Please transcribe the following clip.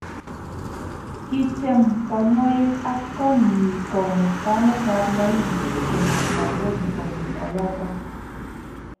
Kityem konyoik ak kotnyi komut kametab Maili konyo Nairobi kobun oloto